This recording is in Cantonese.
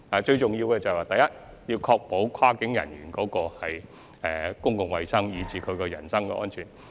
最重要的是，第一，必須確保跨境人員的公共衞生及人身安全。